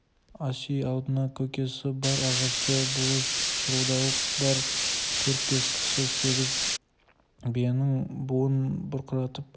ас үй алдында көкесі бар ағасы бұлыш шырылдауық бар төрт-бес кісі бір семіз биенің буын бұрқыратып